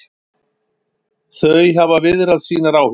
Þau hafa viðrað sínar áhyggjur